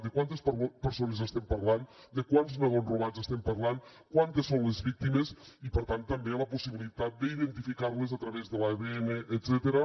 de quantes persones estem parlant de quants nadons robats estem parlant quantes són les víctimes i per tant també la possibilitat d’identificar les a través de l’adn etcètera